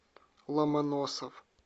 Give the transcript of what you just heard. ломоносов